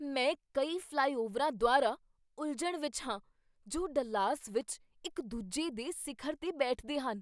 ਮੈਂ ਕਈ ਫ਼ਲਾਈਓਵਰਾਂ ਦੁਆਰਾ ਉਲਝਣ ਵਿੱਚ ਹਾਂ ਜੋ ਡੱਲਾਸ ਵਿੱਚ ਇੱਕ ਦੂਜੇ ਦੇ ਸਿਖਰ 'ਤੇ ਬੈਠਦੇ ਹਨ।